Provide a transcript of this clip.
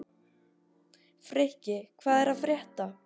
Frikki, hvað er að frétta?